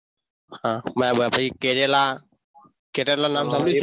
હા ભાઈ કેરેલા કેરેલા નામ સાંભળ્યું છે?